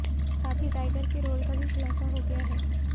साथ ही टाइगर के रोल का भी खुलासा हो गया है